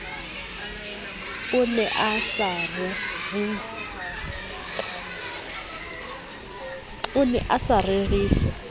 o ne a sa reriswa